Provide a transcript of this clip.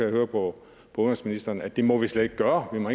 høre på udenrigsministeren at det må vi slet ikke gøre vi må